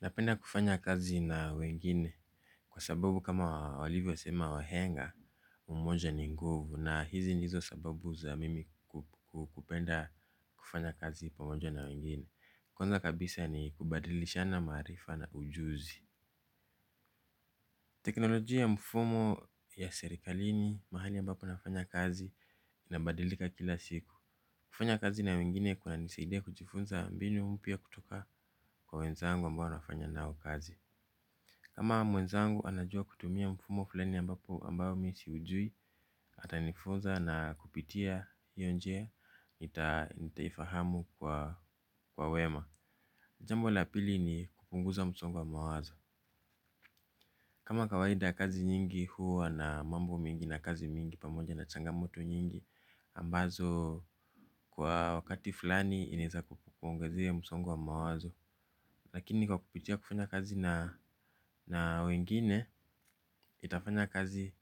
Napenda kufanya kazi na wengine kwa sababu kama walivyosema wahenga umoja ni nguvu na hizi ndizo sababu za mimi kupenda kufanya kazi pamoja na wengine. Kwanza kabisa ni kubadilishana maarifa na ujuzi. Teknolojia ya mfumo ya serikalini mahali ambapo nafanya kazi inabadilika kila siku. Kufanya kazi na wengine kunanisaidia kujifunza mbinu mpya kutoka kwa wenzangu ambao nafanya nao kazi. Kama mwenzangu anajua kutumia mfumo fulani ambapo ambapo mimi siujui, atanifunza na kupitia hio njia nitaifahamu kwa wema. Jambo la pili ni kupunguza msongo wa mawazo. Kama kawaida kazi nyingi huwa na mambo mingi na kazi mingi pamoja na changamoto nyingi ambazo kwa wakati fulani inaweza kukuongezea msongo wa mawazo. Lakini kwa kupitia kufanya kazi na wengine, itafanya kazi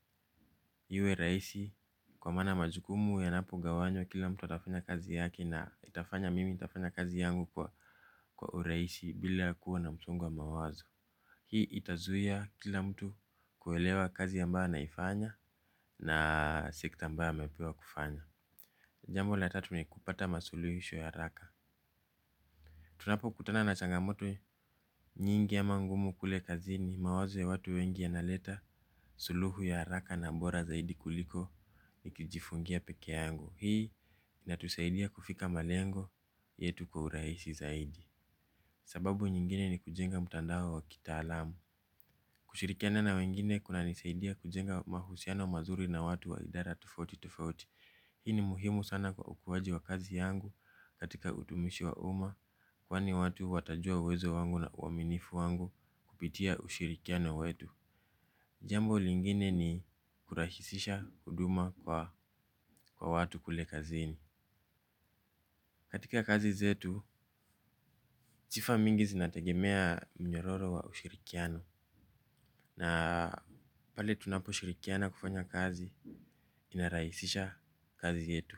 iwe rahisi. Kwa maana majukumu yanapogawanywa kila mtu atafanya kazi yake na itafanya mimi nitafanya kazi yangu kwa urahisi bila kuwa na msongo mawazo. Hii itazuia kila mtu kuelewa kazi ambayo anaifanya na si kitu ambayo amepewa kufanya. Jambo la tatu ni kupata masuluhisho ya haraka. Tunapokutana na changamoto nyingi ama ngumu kule kazini, mawazo ya watu wengi yanaleta suluhu ya hraka na bora zaidi kuliko nikijifungia pekee yangu. Hii inatusaidia kufika malengo yetu kwa urahisi zaidi. Sababu nyingine ni kujenga mtandao wa kitaalamu. Kushirikiana na wengine kunanisaidia kujenga mahusiano mazuri na watu wa idara tofauti tofauti. Hii ni muhimu sana kwa ukuaji wa kazi yangu katika utumishi wa umma. Kwani watu watajua uwezo wangu na uaminifu wangu kupitia ushirikiano wetu. Jambo lingine ni kurahisisha huduma kwa watu kule kazini. Katika kazi zetu, sifa mingi zinatagemea mnyororo wa ushirikiano. Na pale tunaposhirikiana kufanya kazi, inarahisisha kazi yetu.